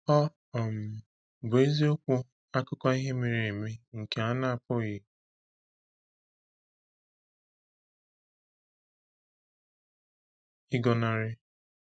Ọ um bụ eziokwu akụkọ ihe mere eme nke a na-apụghị ịgọnarị.